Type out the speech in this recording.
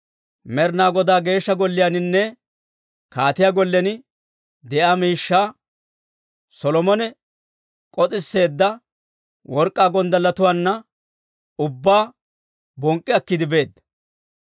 Med'inaa Godaa Geeshsha Golliyaaninne kaatiyaa gollen de'iyaa miishshaa, Solomone k'os'isseedda work'k'aa gonddalletuwaana ubbaa bonk'k'i akkiide beedda.